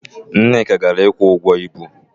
Nneka gara ịkwụ ụgwọ ibu.